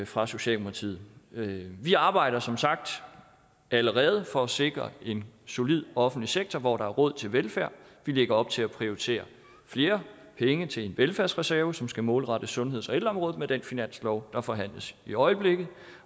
fra socialdemokratiet vi arbejder som sagt allerede for at sikre en solid offentlig sektor hvor der er råd til velfærd vi lægger op til at prioritere flere penge til en velfærdsreserve som skal målrettes sundheds og ældreområdet med den finanslov der forhandles i øjeblikket